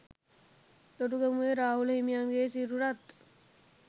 තොටගමුවේ රාහුල හිමියන්ගේ සිරුරත්